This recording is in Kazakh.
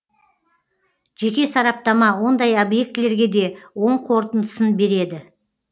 жеке сараптама ондай объектілерге де оң қорытындысын береді